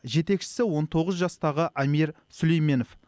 жетекшісі он тоғыз жастағы амир сүлейменов